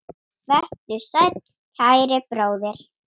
Vertu sæll, kæri bróðir.